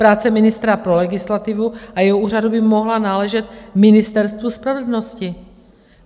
Práce ministra pro legislativu a jeho úřadu by mohla náležet Ministerstvu spravedlnosti.